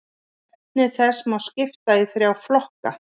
Efni þess má skipta í þrjá flokka.